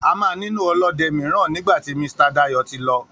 A máà nílò ọlọ́de míràn nígbàtí Misita Dayò tí lọ